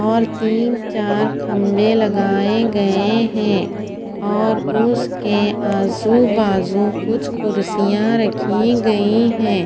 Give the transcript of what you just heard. और तिन चार खम्भे लगाये गये है और उसके आजू बाजु कुछ कुड्सिया रखी गयी है।